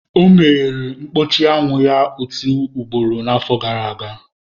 O meghere mkpuchi anwụ ya otu ugboro n'afọ gara aga.